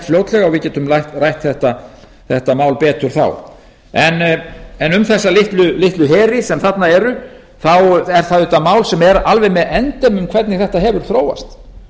fljótlega og við getum rætt þetta mál betur þá en um þessa litlu heri sem þarna eru er það auðvitað mál sem er alveg með endemum hvernig þetta hefur þróast